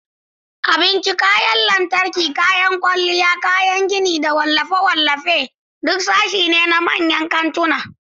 Abinci, kayan lantarki, kayan kwalliya, kayan gini, da wallafe-wallafen duk sashe ne na manyan kantuna.